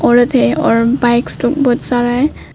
औरत है और बाइक्स लोग बहुत सारा है।